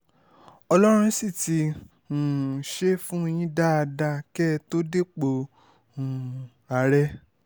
ọlọ́run sì ti um ṣe fún yín dáadáa kẹ́ ẹ tó dépò um ààrẹ